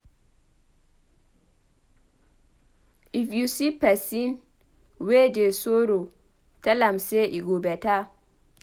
If you see pesin wey dey sorrow tell am sey e go beta.